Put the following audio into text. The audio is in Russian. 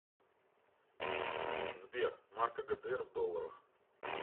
сбер марка гдр в долларах